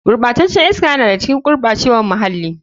Gurɓacen can iska yana da ga cikin gurɓacewar muhalli.